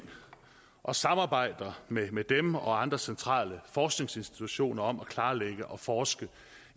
og samarbejder med med dem og andre centrale forskningsinstitutioner om at klarlægge og forske